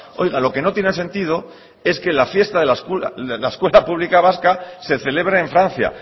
oiga lo que no tiene sentido es que la fiesta de la escuela pública vasca se celebre en francia